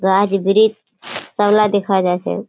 गाछ ब्रीज सबला देखा जा छे।